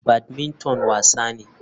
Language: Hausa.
Badmington wasa ne.